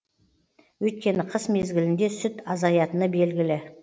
өйткені қыс мезгілінде сүт азаятыны белгілі